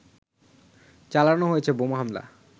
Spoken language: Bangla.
চালানো হয়েছে বোমা হামলা